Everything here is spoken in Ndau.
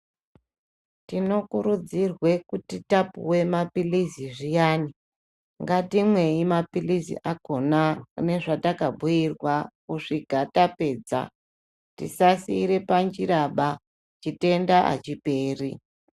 Tinokurudzirwa kuti tapuwa mapirizi zviyani ngatimwei mapirizi akona nezvatakabhuirwa kusvika tapedza tisasiira panjiraba chitenda achiperi.